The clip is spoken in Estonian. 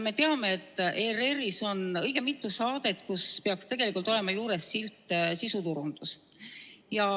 Me teame, et ERR-is on õige mitu saadet, kus peaks tegelikult olema juures silt "Sisuturundus".